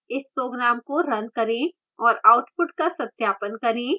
इस program को run करें और output का सत्यापन करें